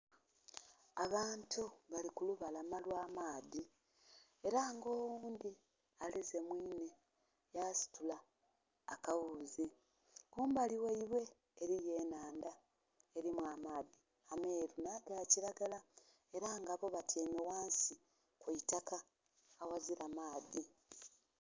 Abantu bali kulubalama olw'amaadhi era nga oghundhi aleze mwinhe yasitula akaghuzi, kumbali ghaibwe eriyo enhandha eri amaadhi ameru nhaga kiragala era boo batyeime ghansi kwiitaka aghazira maadhi.